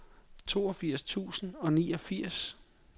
toogfirs tusind og niogfirs